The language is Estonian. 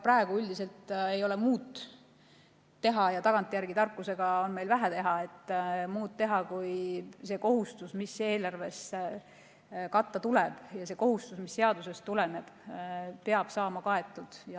Praegu ei olegi muud teha – tagantjärele tarkusega on meil vähe teha –, kui et see kohustus, mis eelarve varal katta tuleb ja mis seadusest tuleneb, peab saama kaetud.